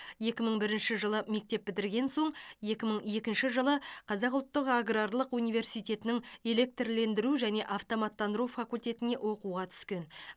екі мың бірінші жылы мектеп бітірген соң екі мың екінші жылы қазақ ұлттық аграрлық университетінің электрлендіру және автоматтандыру факультетіне оқуға түскен